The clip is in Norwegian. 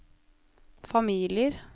familier